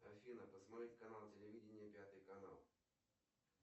афина посмотреть канал телевидения пятый канал